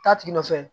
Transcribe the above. Taa tigi nɔfɛ